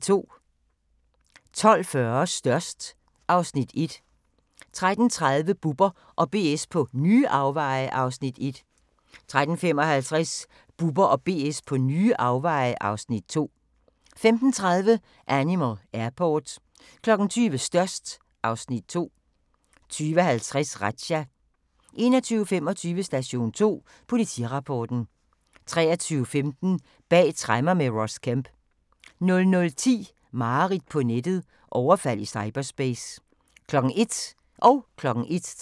12:40: Størst (Afs. 1) 13:30: Bubber & BS på nye afveje (Afs. 1) 13:55: Bubber & BS på nye afveje (Afs. 2) 15:30: Animal Airport 20:00: Størst (Afs. 2) 20:50: Razzia 21:25: Station 2: Politirapporten 23:15: Bag tremmer med Ross Kemp 00:10: Mareridt på nettet - overfald i cyberspace 01:00: Grænsepatruljen